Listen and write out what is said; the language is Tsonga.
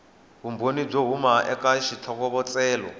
vumbhoni byo huma eka xitlhokovetselo